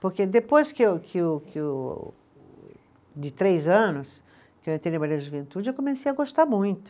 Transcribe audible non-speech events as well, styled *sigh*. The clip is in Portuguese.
Porque depois que o, que o, que o, de três anos que eu entrei *unintelligible* da Juventude, eu comecei a gostar muito.